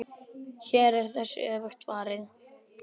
Hér er þessu öfugt farið.